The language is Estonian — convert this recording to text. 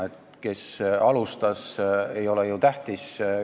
See, kes alustas, ei ole ju tähtis.